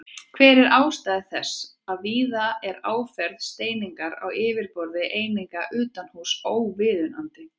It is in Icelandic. Hver er ástæða þess að víða er áferð steiningar á yfirborði eininga utanhúss óviðunandi?